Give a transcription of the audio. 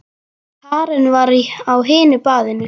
Karen var á hinu baðinu.